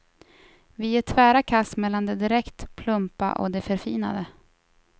Vi gör tvära kast mellan det direkt plumpa och det förfinade.